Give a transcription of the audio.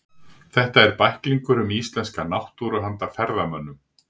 Þetta eru bæklingar um íslenska náttúru handa ferðamönnum.